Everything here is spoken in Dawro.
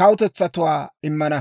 kawutetsatuwaa immana.